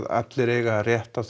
allir eiga rétt á